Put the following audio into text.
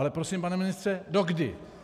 Ale prosím, pane ministře, dokdy?